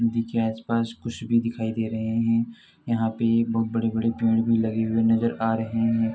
नदी के आस-पास कुछ भी दिखाई दे रहे हैं। यहां पे एक बहुत बड़े-बड़े पेड़ भी लगे हुए नजर आ रहे हैं।